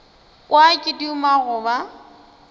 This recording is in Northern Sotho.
kwa ke duma go ba